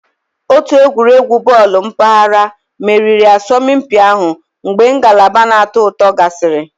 Otu egwuregwu bọọlụ mpaghara meriri asọmpi ahụ mgbe ngalaba na-atọ ụtọ gasịrị